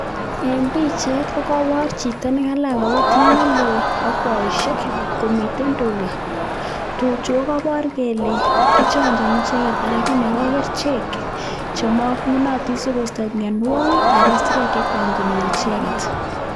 En pichait kokobor chito nekalach kobutit nelel ak boishek komiten tukaa, tuchu ko kobor kelee kichonjoni icheket anan kinoko kerichek chemongunotin sikosto mionwokik aran isirek chekwan konyor icheket.